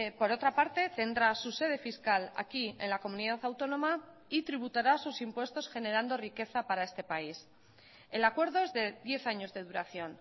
por otra parte tendrá su sede fiscal aquí en la comunidad autónoma y tributará sus impuestos generando riqueza para este país el acuerdo es de diez años de duración